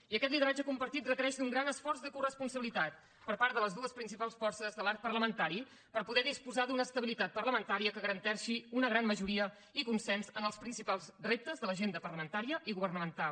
i aquest lideratge compartit requereix d’un gran esforç de coresponsabilitat per part de les dues principals forces de l’arc parlamentari per poder disposar d’una estabilitat parlamentària que garanteixi una gran majoria i consens en els principals reptes de l’agenda parlamentària i governamental